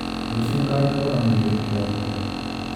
Rũciũ nganogora mwĩrĩ kĩroko tene.